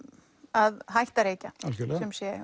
að hætta að reykja algjörlega